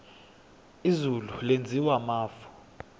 izulu lenziwa mafu